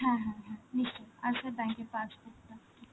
হ্যাঁ হ্যাঁ, নিশ্চয়. আর sir bank এর passbook টা.